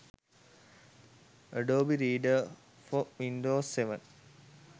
adobe reader for windows 7